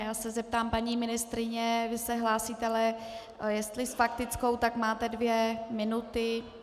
Já se zeptám paní ministryně: Vy se hlásíte, ale jestli s faktickou, tak máte dvě minuty.